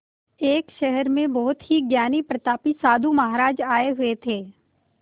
एक शहर में बहुत ही ज्ञानी प्रतापी साधु महाराज आये हुए थे